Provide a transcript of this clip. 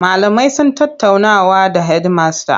Malamai sun tattaunawa da hedimasta.